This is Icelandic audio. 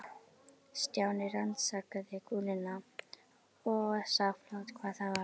Stjáni rannsakaði kúluna og sá fljótt hvað það var.